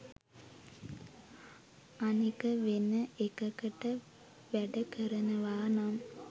අනික වෙන එකකට වැඩ කරනවා නම්